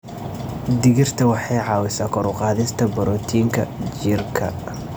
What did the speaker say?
Digirta waxay caawisaa kor u qaadista borotiinka jidhka.